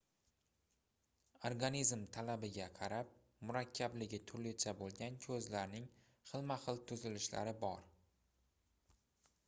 organizm talabiga qarab murakkabligi turlicha boʻlgan koʻzlarning xilma-xil tuzilishlari bor